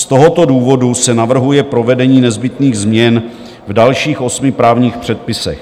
Z tohoto důvodu se navrhuje provedení nezbytných změn v dalších osmi právních předpisech.